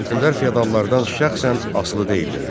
Kənlilər feodallardan şəxsən asılı deyildilər.